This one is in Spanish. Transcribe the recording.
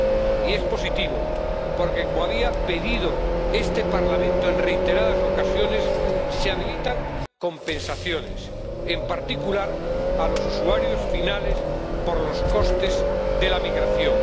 Y es positivo porque, como había pedido este Parlamento en reiteradas ocasiones, se habilitan compensaciones, en particular para los usuarios finales, por los costes de la migración.